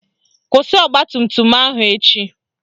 Kwụsị ọgbatumtum ahụ echi